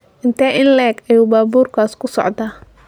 Intee in le'eg ayuu baabuurkaas ku socdaa?